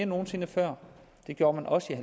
nogen sinde før det gjorde man også i